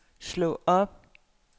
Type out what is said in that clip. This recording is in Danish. slå op